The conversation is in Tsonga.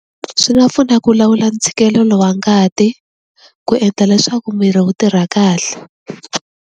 Swi nga pfuna ku lawula ntshikelelo wa ngati ku endla leswaku miri wu tirha kahle.